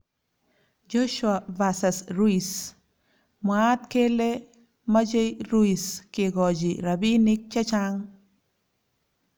Joshua vs Ruiz:Mwaat kele machei Ruiz kekochi rabiinik checha'ng